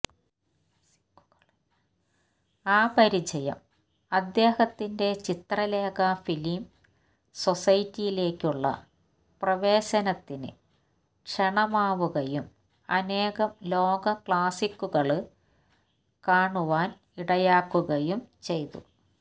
ആ പരിചയം അദ്ദേഹത്തിന്റെ ചിത്രലേഖ ഫിലിം സൊസൈറ്റിയിലേക്കുള്ള പ്രവേശനത്തിന് ക്ഷണമാവുകയും അനേകം ലോക ക്ലാസ്സിക്കുകള് കാണുവാന് ഇടയാക്കുകയും ചെയ്തു